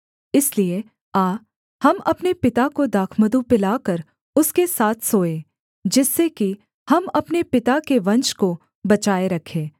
इसलिए आ हम अपने पिता को दाखमधु पिलाकर उसके साथ सोएँ जिससे कि हम अपने पिता के वंश को बचाए रखें